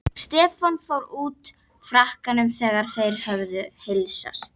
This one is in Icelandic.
Stefán fór úr frakkanum þegar þeir höfðu heilsast.